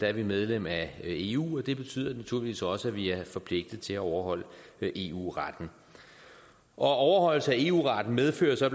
er vi medlem af eu og det betyder naturligvis også at vi er forpligtet til at overholde eu retten og overholdelse af eu retten medfører så